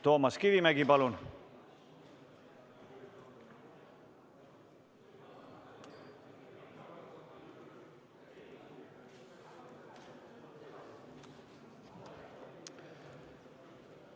Toomas Kivimägi, palun!